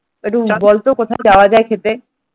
একটু বল তো? কোথায় যাওয়া যায় খেতে ।